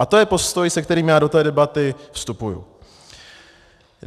A to je postoj, se kterým já do té debaty vstupuju.